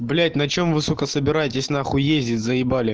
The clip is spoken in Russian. блять на чем вы сука собираетесь на хуй ездить заебали